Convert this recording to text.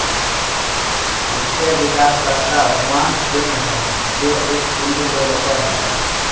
इसके विकासकर्ता Huang Peng हैं जो एक चीनी डेवलपर हैं